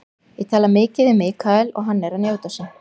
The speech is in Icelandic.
Ég tala mikið við Michael og hann er að njóta sín.